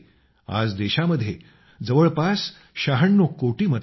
आज देशामध्ये जवळपास 96 कोटी मतदार आहेत